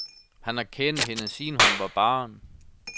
Han har kendt hende, siden hun var barn.